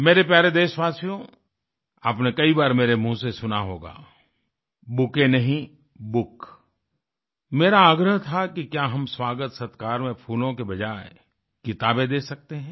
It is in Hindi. मेरे प्यारे देशवासियो आपने कई बार मेरे मुहँ से सुना होगा बूके नहीं बुक मेरा आग्रह था कि क्या हम स्वागतसत्कार में फूलों के बजाय किताबें दे सकते हैं